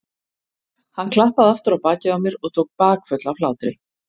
Hann klappaði aftur á bakið á mér og tók bakföll af hlátri.